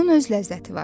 Bunun öz ləzzəti var.